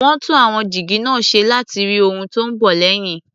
Wọ́n tún àwọn jígí náà ṣe láti rí ohun tó ń bọ̀ lẹ́yìn.